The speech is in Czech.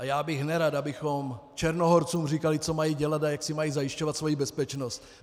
A já bych nerad, abychom Černohorcům říkali, co mají dělat a jak si mají zajišťovat svoji bezpečnost.